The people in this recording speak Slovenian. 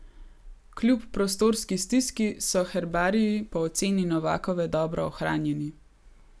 Kljub prostorski stiski so herbariji po oceni Novakove dobro ohranjeni.